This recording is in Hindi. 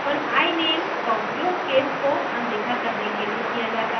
hyphen iname का उपयोग case को अनदेखा करने के लिए किया जाता है